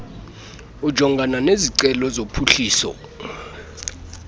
ojongana nezicelo zophuhliso